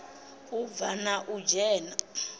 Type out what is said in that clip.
u bva na u dzhena